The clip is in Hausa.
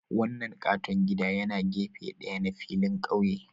Wannan katon gida yana gefe ɗaya na filin ƙauye